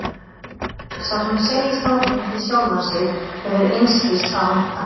Sá sem segist hafa fundið sjálfan sig hefur einskis að vænta.